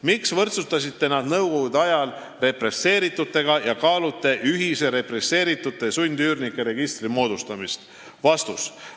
Miks võrdsustasite nad nõukogude ajal represseeritutega ja kaalute ühise represseeritute ja "sundüürnike" registri moodustamist?